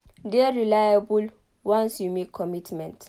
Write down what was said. De reliable once you make commitment